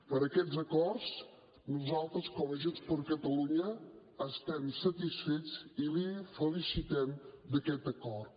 per aquests acords nosaltres com a junts per catalunya estem satisfets i el felicitem per aquest acord